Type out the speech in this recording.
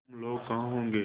हम लोग कहाँ होंगे